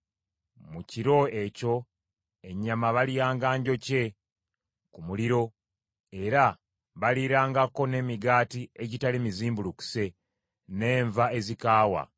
Mu kiro ekyo ennyama balyanga njokye ku muliro, era baliirangako n’emigaati egitali mizimbulukuse n’enva ezikaawa.